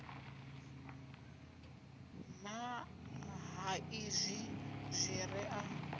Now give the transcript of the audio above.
nṱha ha izwi zwire a